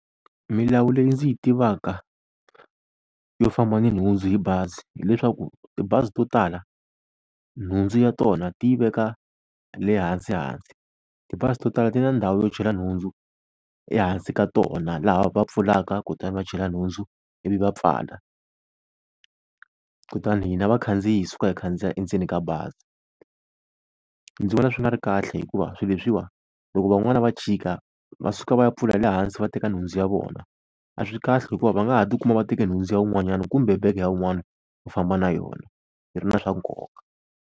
Milawu leyi ndzi yi tivaka yo famba ni nhundzu hi bazi, hileswaku tibazi to tala nhundzu ya tona ti yi veka lehansi hansi. Tibazi to tala ti na ndhawu yo chela nhundzu ehansi ka tona, laha va pfulaka kutani va chela nhundzu ivi va pfala kutani hina vakhandziyi hi suka hi khandziya endzeni ka bazi. Ndzi vona swi nga ri kahle, hikuva swi leswiwa loko van'wani va chika, va suka va ya pfula le hansi va teka nhundzu ya vona. A swi kahle hikuva va nga ha tikuma va teka nhundzu ya wun'wanyana kumbe bege ya un'wana va famba na yona yi ri na swa nkoka.